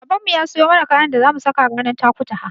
Babanmu ya siyo mana kayan da zamu saka ranar Takutaha.